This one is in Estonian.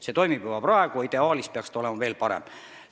See toimib juba praegu, ideaalis peaks see olema veel parem.